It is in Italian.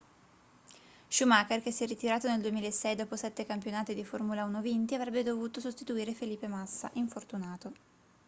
schumacher che si è ritirato nel 2006 dopo sette campionati di formula 1 vinti avrebbe dovuto sostituire felipe massa infortunato